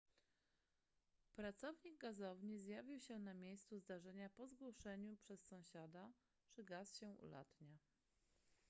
pracownik gazowni zjawił się na miejscu zdarzenia po zgłoszeniu przez sąsiada że gaz się ulatnia